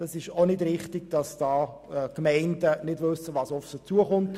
Es ist also auch falsch, dass die Gemeinden nicht wissen, was auf sie zukommt.